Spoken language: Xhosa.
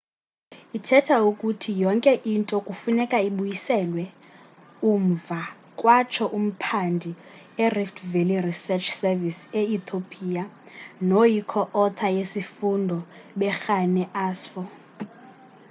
ithetha ukuthi yonke into kufuneka ibuyiselwe umva kwatsho umphandi e-rift valley research service e-ethiopia noyi co-author yesifundo berhane asfaw